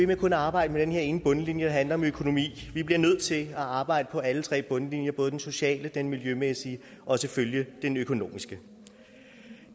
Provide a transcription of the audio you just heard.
med kun at arbejde med den her ene bundlinje der handler om økonomi vi bliver nødt til at arbejde på alle tre bundlinjer både den sociale den miljømæssige og selvfølgelig den økonomiske